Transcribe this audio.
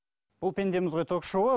бұл пендеміз ғой ток шоуы